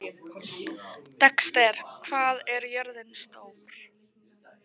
Dexter, hvað er jörðin stór?